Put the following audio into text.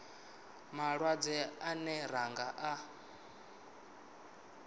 malwadze ane ra nga a